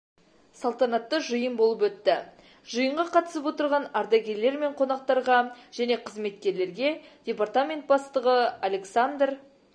салтанатты жиын болып өтті жиынға қатысып отырған ардагерлер мен қонақтарға және қызметкерлерге департамент бастығы александр